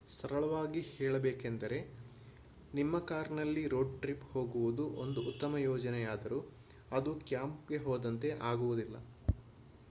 ಸರಳವಾಗಿ ಹೇಳಬೇಕೆಂದರೆ ನಿಮ್ಮದೇ ಕಾರ್ನಲ್ಲಿ ರೋಡ್ ಟ್ರಿಪ್ ಹೋಗುವುದು ಒಂದು ಉತ್ತಮ ಯೋಜನೆಯಾದರೂ ಅದು ಕ್ಯಾಂಪ್ಗೆ ಹೋದಂತೆ ಆಗುವುದಿಲ್ಲ